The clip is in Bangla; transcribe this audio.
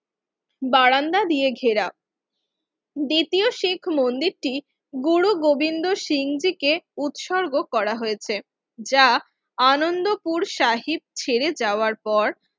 বারান্দা দিয়ে ঘেরা দ্বিতীয় শিখ মন্দির টি গুরু গোবিন্দ শিং জি কে উৎসর্গ করা হয়েছে যা আনন্দপুর সাহিব ছেড়ে যাওয়ার পর